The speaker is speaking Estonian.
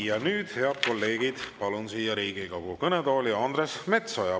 Ja nüüd, head kolleegid, palun siia Riigikogu kõnetooli Andres Metsoja.